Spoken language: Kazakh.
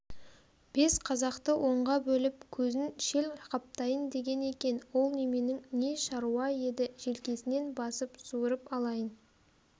бес қазақты онға бөліп көзін шел қаптайын деген екен ол неменің не шаруа еді желкесінен басып суырып алайын